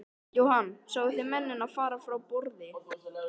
Jóhann: Sáu þið mennina fara frá borði?